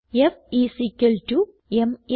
F is equal to m uh